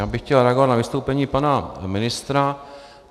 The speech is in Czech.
Já bych chtěl reagovat na vystoupení pana ministra.